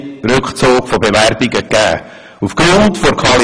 Einige Bewerbungen wurden ausserdem zurückgezogen.